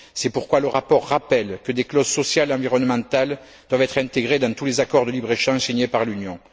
C'est pourquoi le rapport rappelle que des clauses sociales et environnementales doivent être intégrées dans tous les accords de libre échange signés par l'Union.